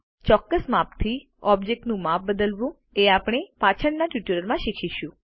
ચોક્કસ માપથી ઓબ્જેક્ટનું માપ બદલવું એ આપણે પાછળના ટ્યુટોરિયલમાં શીખીશું